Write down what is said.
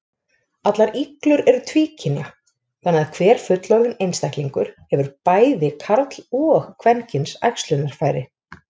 Allar iglur eru tvíkynja, þannig að hver fullorðinn einstaklingur hefur bæði karl- og kvenkyns æxlunarfæri.